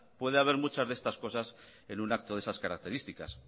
puede haber muchas de estas cosas en un acto de esas características